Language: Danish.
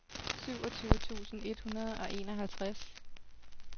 syvogtyve tusind et hundrede og enoghalvtreds